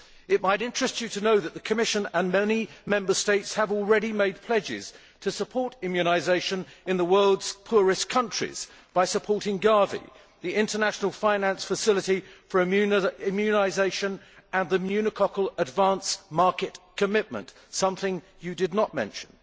It might interest you to know that the Commission and many Member States have already made pledges to support immunisation in the world's poorest countries by supporting GAVI, the International Finance Facility for Immunisation, and the pneumococcal Advance Market Commitment something you did not mention.